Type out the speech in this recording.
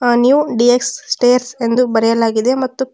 ಆ new D X stairs ಎಂದು ಬರೆಯಲಾಗಿದೆ ಮತ್ತು--